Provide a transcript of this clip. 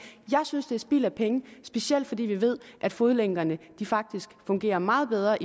jeg synes det er spild af penge specielt fordi vi ved at fodlænkerne faktisk fungerer meget bedre